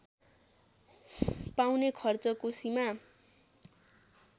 पाउने खर्चको सीमा